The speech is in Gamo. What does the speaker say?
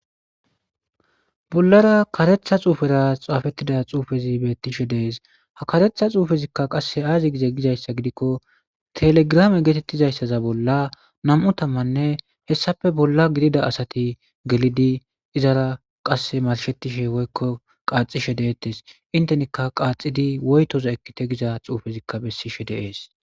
bollara karetha xuufera xaafettida xuufezi beettishe de7ees ha karetha xuufezikka qassi aazi gize gizayssa gidikko telegrame geetettizayssaza bolla nam7u tammanne hessafe bolla gidida asati gelidi izara qasse marshettishe woykko qaaxishe deettes intenikka qaaxidi woytoza ekkite giza xuufezikka bessishe de7ees.